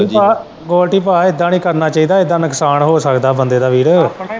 ਗੋਲਡੀ ਭਾਅ ਇੱਦਾ ਨੀ ਕਰਨਾ ਚਾਹੀਦਾ ਇੱਦਾ ਨੁਕਸਾਨ ਹੋ ਸਕਦਾ ਬੰਦੇ ਦਾ ਵੀਰ।